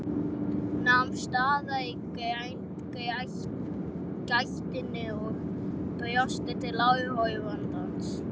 Nam staðar í gættinni og brosti til áhorfandans.